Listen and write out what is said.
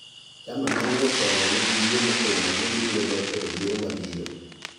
Chama manie telo nigi yie motegno ni gibiro locho e yiero mabiro.